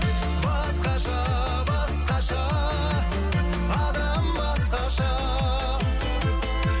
басқаша басқаша адам басқаша